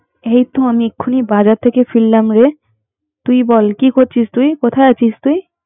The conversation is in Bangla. এই তো আমি এখন বাজার থেকে ফিরলাম রে, তুই বল! কি করছিস তুই? কোথায় আছিস তুই?